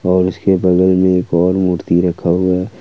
और उसके बगल में एक और मूर्ति रखा हुआ है।